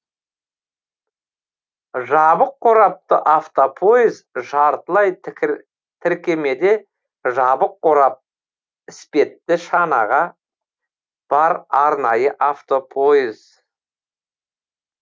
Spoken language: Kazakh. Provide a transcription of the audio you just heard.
жабық қорапты автопойыз жартылай тіркемеде жабық қорап іспетті шанағы бар арнайы автопойыз